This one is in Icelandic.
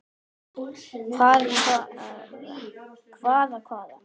Hvaða hvaða.